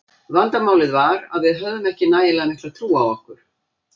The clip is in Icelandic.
Vandamálið var að við höfðum ekki nægilega mikla trú á okkur.